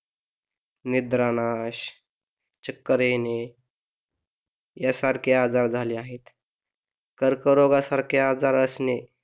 निद्रानाश चक्कर येणे यासारखे आजार झाले आहेत कर्करोगासारखे आजार असणे